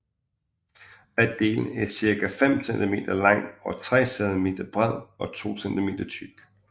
Hver del er cirka 5 cm lang og 3 cm bred og 2 cm tyk